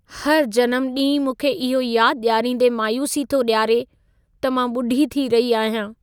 हर जनमु ॾींहुं मूंखे इहो यादि ॾियारींदे मायूसी थो ॾियारे त मां ॿुढ़ी थी रही आहियां।